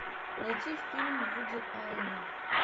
найти фильм вуди алена